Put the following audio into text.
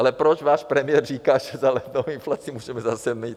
Ale proč váš premiér říká, že za lednovou inflaci můžeme zase my?